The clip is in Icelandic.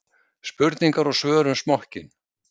Spurningar og svör um smokkinn.